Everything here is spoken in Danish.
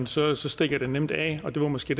så så stikker det nemt af og det var måske